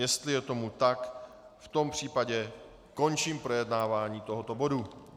Jestli je tomu tak, v tom případě končím projednávání tohoto bodu.